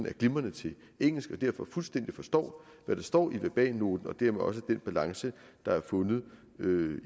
er glimrende til engelsk og derfor fuldstændig forstår hvad der står i verbalnoten og dermed også den balance der er fundet